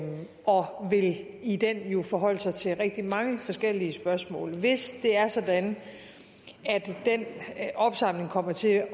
og vil i den jo forholde sig til rigtig mange forskellige spørgsmål hvis det er sådan at den opsamling kommer til